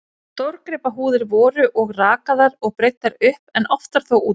Stórgripahúðir voru og rakaðar og breiddar upp, en oftar þó úti við.